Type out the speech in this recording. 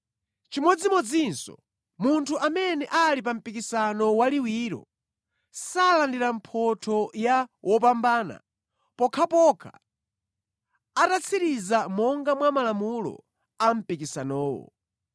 Chimodzimodzinso, munthu amene ali pa mpikisano waliwiro, salandira mphotho ya wopambana pokhapokha atatsiriza monga mwa malamulo a mpikisanowo.